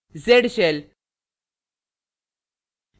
z shell